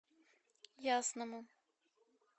ясному